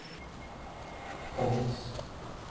kongens